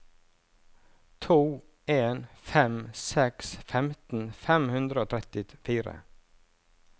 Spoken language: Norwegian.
to en fem seks femten fem hundre og trettifire